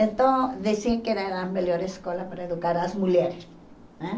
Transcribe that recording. Então, diziam que era a melhor escola para educar as mulheres né.